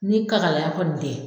Ni kakalaya kɔni tɛ